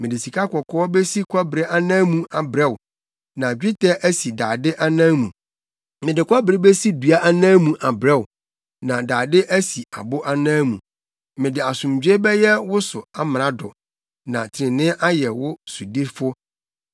Mede sikakɔkɔɔ besi kɔbere anan mu abrɛ wo, na dwetɛ asi dade anan mu. Mede kɔbere besi dua anan mu abrɛ wo, na dade asi abo anan mu. Mede asomdwoe bɛyɛ wo so amrado na trenee ayɛ wo sodifo.